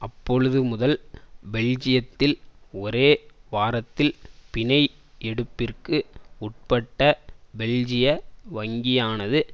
அப்பொழுதுமுதல் பெல்ஜியத்தில் ஒரே வாரத்தில் பிணை எடுப்பிற்கு உட்பட்ட பெல்ஜிய வங்கியானது